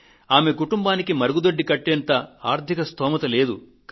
ఆమె కుటుంబానికి మరుగుదొడ్డి కట్టేటంత ఆర్థిక స్తోమత లేదు